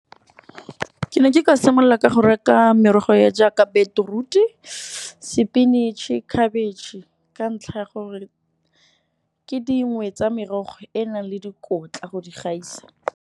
Ke ne ke ka simolola ka go reka merogo ya jaaka beetroot-u sepinatšhe, khabetšhe ka ntlha ya gore ke dingwe tsa merogo e e nang le dikotla go di gaisa.